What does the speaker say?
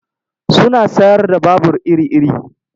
Suna sayar da babur iri-iri.